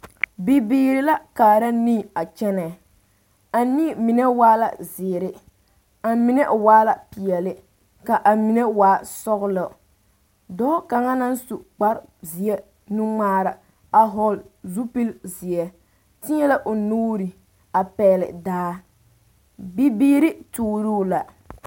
Bibiiri la kaara nii a kyɛ a nii mine waa la zeere a mime waa la peɛle ka a mine waa sɔgelɔ dɔɔ kaŋa naŋ su kpar zeɛ nuŋmaara a hɔgl zupili zeɛ teɛ la o nuure a pɛgele daa bibiiri tuuruu la